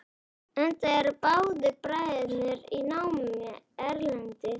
Enda eru báðir bræðurnir í námi erlendis.